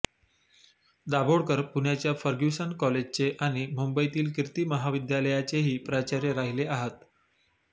दाभोळकर पुण्याच्या फर्ग्युसन कॉलेजचे आणि मुंबईतील कीर्ती महाविद्यालयाचेही प्राचार्य राहिले आहत